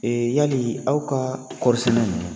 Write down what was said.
Ee yali aw ka kɔri sɛnɛ in